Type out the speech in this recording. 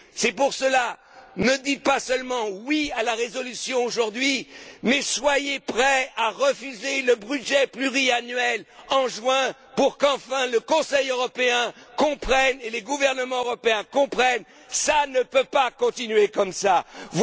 C'est pourquoi ne dites pas seulement oui à la résolution aujourd'hui, mais soyez prêts à refuser le budget pluriannuel en juin, pour qu'enfin le Conseil européen et les gouvernements européens comprennent ça ne peut pas continuer ainsi.